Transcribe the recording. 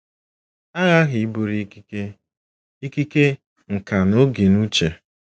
A ghaghị iburu ikike, ikike, nkà na oge n'uche.